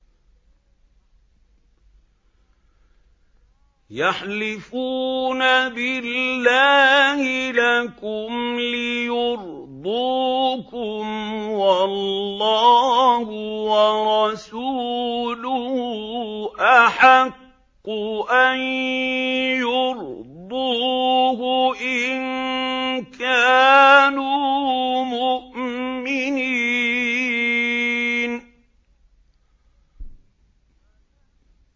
يَحْلِفُونَ بِاللَّهِ لَكُمْ لِيُرْضُوكُمْ وَاللَّهُ وَرَسُولُهُ أَحَقُّ أَن يُرْضُوهُ إِن كَانُوا مُؤْمِنِينَ